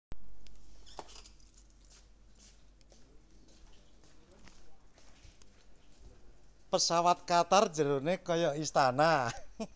Pesawat Qatar njerone koyo istana